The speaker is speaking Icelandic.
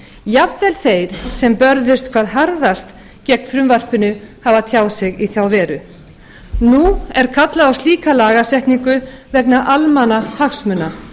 jafnvel þeir sem börðust hvað harðast gegn frumvarpinu hafa tjáð sig í þá veru nú er kallað á slíka lagasetningu vegna almannahagsmuna